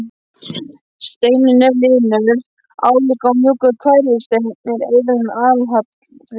Steinninn er linur, álíka og mjúkur hverfisteinn en eitlarnir allharðir.